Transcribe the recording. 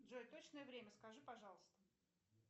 джой точное время скажи пожалуйста